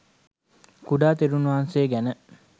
කුඩා තෙරණුන් වහන්සේ ගැන